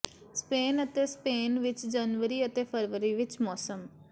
Spain ਅਤੇ Spain ਵਿਚ ਜਨਵਰੀ ਅਤੇ ਫਰਵਰੀ ਵਿਚ ਮੌਸਮ